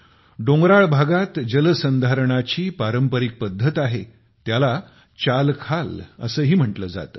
डोंगराळ भागात जल संधारणाची पारंपारिक पद्धत आहे त्याला चालखाल असेही म्हटले जाते